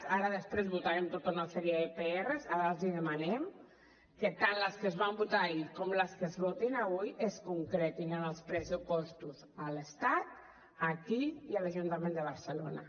ara després votarem tota una sèrie de prs ara els hi demanem que tant les que es van votar ahir com les que es votin avui es concretin en els pressupostos a l’estat aquí i a l’ajuntament de barcelona